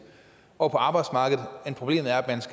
år på arbejdsmarkedet